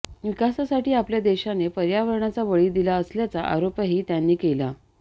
विकासासाठी आपल्या देशाने पर्यावरणाचा बळी दिला असल्याचा आरोपही त्यांनी केला